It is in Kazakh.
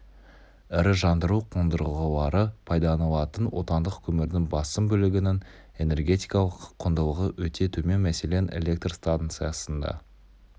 ірі жандыру қондырғылары пайдаланатын отандық көмірдің басым бөлігінің энергетикалық құндылығы өте төмен мәселен электр станциясында